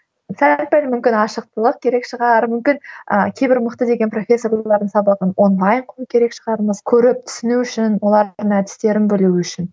сәл пәл мүмкін ашықтылық керек шығар мүмкін ы кейбір мықты деген профессорлардың сабағын онлайн көру керек шығармыз көріп түсіну үшін олардың әдістерін білу үшін